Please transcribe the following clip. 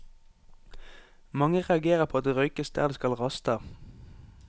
Mange reagerer på at det røykes der de skal raste.